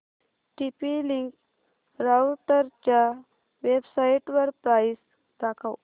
TP Link राउटरच्या वेबसाइटवर price दाखव